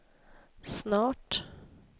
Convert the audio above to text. snart